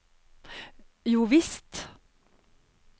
jovisst